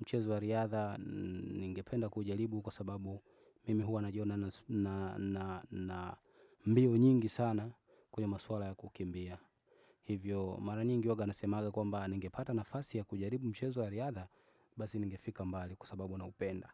Mchezo wa riadha ninge penda kujaribu kwa sababu mimi huwa najiona na mbio nyingi sana kwenye maswala ya kukimbia. Hivyo mara nyingi uwaga nasemaga kwa mbaa ninge pata nafasi ya kujaribu mchezo wa riadha basi ninge fika mbali kwa sababu na upenda.